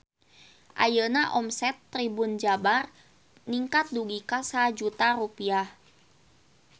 Ayeuna omset Tribun Jabar ningkat dugi ka 1 juta rupiah